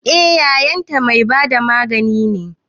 Eh yayan ta mai bada magani ne